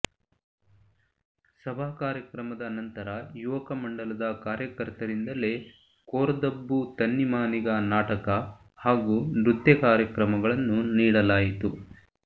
ಸಭಾ ಕಾರ್ಯಕ್ರಮದ ನಂತರ ಯುವಕ ಮಂಡಲದ ಕಾರ್ಯಕರ್ತರಿಂದಲೇ ಕೋರ್ದಬ್ಬು ತನ್ನಿಮಾನಿಗ ನಾಟಕ ಹಾಗೂ ನೃತ್ಯ ಕಾರ್ಯಕ್ರಮಗಳನ್ನು ನೀಡಲಾಯಿತು